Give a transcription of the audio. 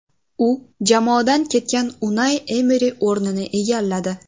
U jamoadan ketgan Unai Emeri o‘rnini egalladi.